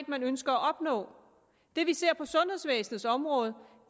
man ønsker at opnå det vi ser på sundhedsvæsenets område